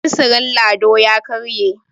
fensirin Lado ya karye